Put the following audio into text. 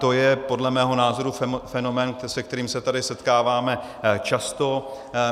To je podle mého názoru fenomén, se kterým se tady setkáváme často.